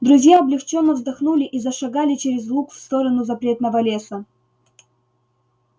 друзья облегчённо вздохнули и зашагали через луг в сторону запретного леса